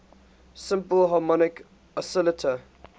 simple harmonic oscillator